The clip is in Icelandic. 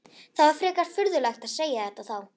Það er frekar furðulegt að segja þetta þá?